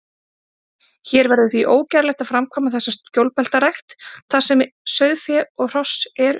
Hér verður því ógerlegt að framkvæma þessa skjólbeltarækt, þar sem sauðfé og hross eru.